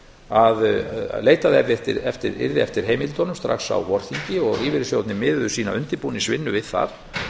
að leitað yrði eftir heimildunum strax á vorþingi og lífeyrissjóðirnir miðuðu undirbúningsvinnu sína við það